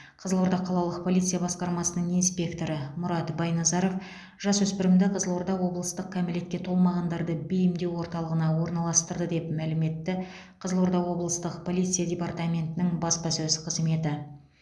қызылорда қалалық полиция басқармасының инспекторы мұрат байназаров жасөспірімді қызылорда облыстық кәмелетке толмағандарды бейімдеу орталығына орналастырды деп мәлім етті қызылорда облыстық полиция департаментінің баспасөз қызметі